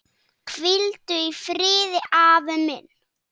Hvíldu í friði, afi minn.